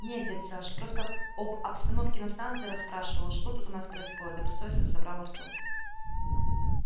не дядь саш просто об обстановке на станции расспрашивал что тут у нас происходит добросовестно соврал артём